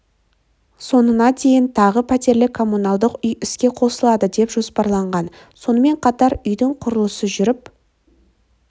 соңына дейін тағы пәтерлі коммуналдық үй іске қосылады деп жоспарланған сонымен қатар үйдің құрылысы жүріп